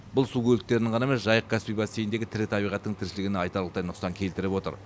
бұл су көліктерінің ғана емес жайық каспий бассейніндегі тірі табиғаттың тіршілігіне айтарлықтай нұқсан келтіріп отыр